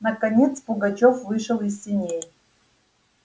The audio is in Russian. наконец пугачёв вышел из сеней